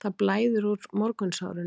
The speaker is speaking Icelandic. Það blæðir úr morgunsárinu